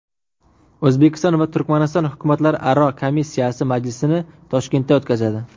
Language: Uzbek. O‘zbekiston va Turkmaniston hukumatlararo komissiya majlisini Toshkentda o‘tkazadi.